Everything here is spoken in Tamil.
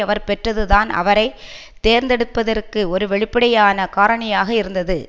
அவர் பெற்றது தான் அவரை தேர்ந்தெடுப்பதற்கு ஒரு வெளிப்படையான காரணியாக இருந்தது